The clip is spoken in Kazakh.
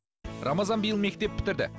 рамазан биыл мектеп бітірді